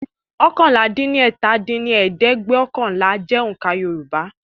oókànlá-dín-ní-ọ́ta dín ní ẹ̀ẹ́dẹ́gbẹ́ọ̀kànlá jẹ́ oǹkà Yoruba